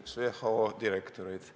üks WHO direktoreid.